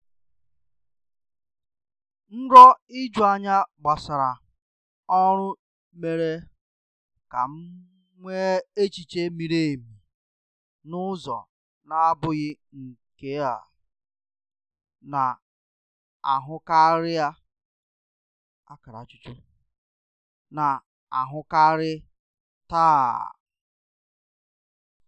Nrọ ijuanya gbasara ọrụ mere ka m nwee echiche miri emi n'ụzọ na-abụghị nke a na-ahụkarị a na-ahụkarị taa.